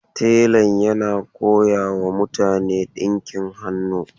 Telan yana koyawa mutane dinkin hannu.